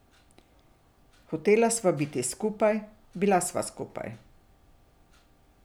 Hotela sva biti skupaj, bila sva skupaj.